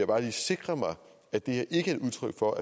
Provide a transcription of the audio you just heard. bare lige sikre mig at det her ikke er et udtryk for